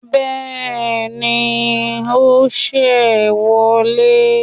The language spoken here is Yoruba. Béèni o ṣe wọlé